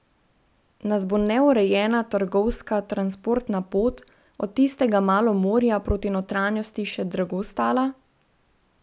Nas bo neurejena trgovska transportna pot od tistega malo morja proti notranjosti še drago stala?